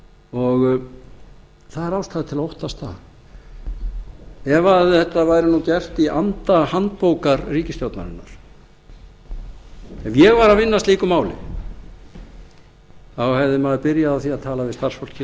og það er ástæða til að óttast það ef þetta væri nú gert í anda handbókar ríkisstjórnarinnar ef ég væri að vinna að slíku máli hefði maður byrjað á því að tala við starfsfólkið